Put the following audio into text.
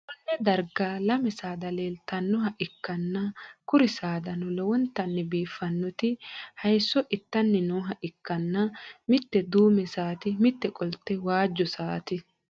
konne darga lame saada leeltannoha ikkanna, kuri saadano lowontanni biiffinoti hayisso itanni nooha ikkanna, mitte duume saati, mitte qolte waajjo saati.